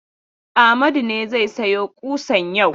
Amadu ne zai sayo ƙusan yau.